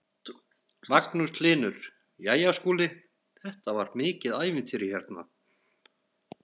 Magnús Hlynur: Jæja Skúli þetta var mikið ævintýri hérna?